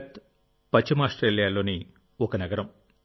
Perth పశ్చిమ ఆస్ట్రేలియాలోని ఒక నగరం